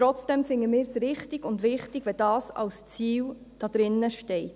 Trotzdem finden wir es richtig und wichtig, wenn das als Ziel drinsteht.